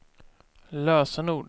lösenord